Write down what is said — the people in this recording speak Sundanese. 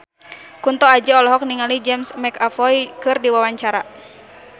Kunto Aji olohok ningali James McAvoy keur diwawancara